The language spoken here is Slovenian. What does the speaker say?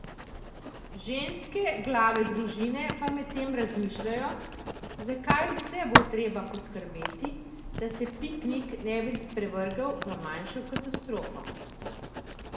Ženske glave družine pa medtem razmišljajo, za kaj vse bo treba poskrbeti, da se piknik ne bi sprevrgel v manjšo katastrofo.